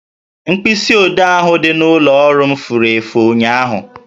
Mkpịsi odee ahụ dị n'ụlọ ọrụ m furu efu ụnyaahụ